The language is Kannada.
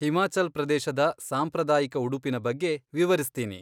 ಹಿಮಾಚಲ್ ಪ್ರದೇಶದ ಸಾಂಪ್ರದಾಯಿಕ ಉಡುಪಿನ ಬಗ್ಗೆ ವಿವರಿಸ್ತೀನಿ.